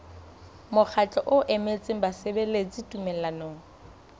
mokgatlo o emetseng basebeletsi tumellanong